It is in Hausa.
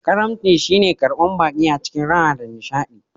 Ƙarumci shi ne karban baƙi a cikin raha da nishadi